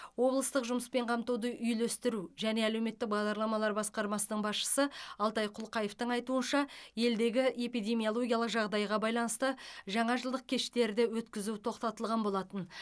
облыстық жұмыспен қамтуды үйлестіру және әлеуметтік бағдарламалар басқармасының басшысы алтай құлқаевтың айтуынша елдегі эпидемиологиялық жағдайға байланысты жаңажылдық кештерді өткізу тоқтатылған болатын